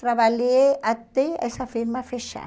Trabalhei até essa firma fechar.